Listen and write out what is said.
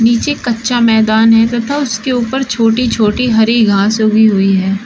नीचे कच्चा मैदान है तथा उसके ऊपर छोटी छोटी हरी घास उगी हुई है।